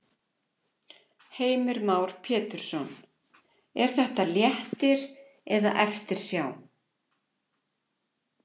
Heimir Már Pétursson: Er þetta léttir eða eftirsjá?